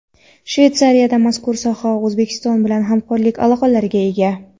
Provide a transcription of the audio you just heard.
Shvetsariya mazkur sohada O‘zbekiston bilan hamkorlik aloqalariga ega.